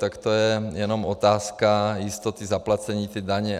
Tak to je jenom otázka jistoty zaplacení té daně.